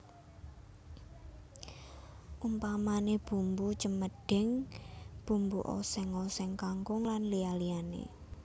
Umpamané bumbu cemedhing bumbu oséng oséng kangkung lan liya liyané